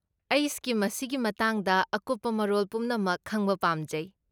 ꯑꯩ ꯁ꯭ꯀꯤꯝ ꯑꯁꯤꯒꯤ ꯃꯇꯥꯡꯗ ꯑꯀꯨꯞꯄ ꯃꯔꯣꯜ ꯄꯨꯝꯅꯃꯛ ꯈꯪꯕ ꯄꯥꯝꯖꯩ꯫